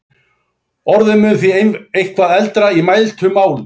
Orðið mun því eitthvað eldra í mæltu máli.